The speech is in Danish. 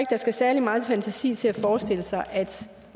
der skal særlig meget fantasi til at forestille sig at